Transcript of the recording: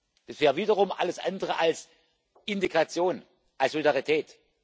Das wäre wiederum alles andere als Integration, als Solidarität.